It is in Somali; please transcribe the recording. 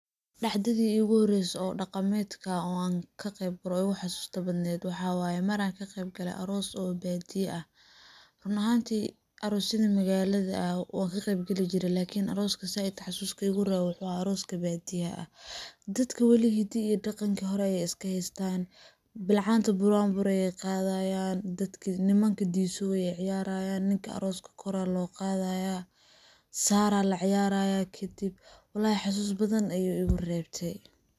Dhacdadii igu horreyse oo dhaqamedka ah oo aan ka qeyb galo oo iigu xasuusta badneed waxa waye mar aan ka qeyb gale aroos oo badiya ah ,run ahantii aroosyadan magaalda ah waan ka qeyb gali jire lakini arooska saaid xasuuska iigu reebe waxuu ahaa arooska baadiyaha. Dadka wali hiddihi iyo dhaqanki hore ayey iska heystaan, bilcaanta buraanbur ayey qadayaan, dadka nimanka disoow ayey ciyarayaan ,ninka arooska kor ayaa loo qadayaa ,saraa la ciyarayaa kadib ,wallahi xasuus badan ayuu igu reebte.